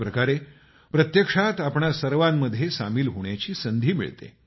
एक प्रकारे प्रत्यक्षात आपणा सर्वांमध्ये सामिल होण्याची संधी मिळते